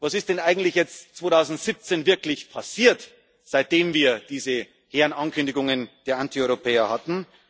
Was ist denn eigentlich jetzt 2017 wirklich passiert, seitdem wir diese hehren Ankündigungen der Antieuropäer